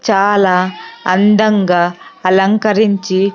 చాలా అందంగా అలంకరించి--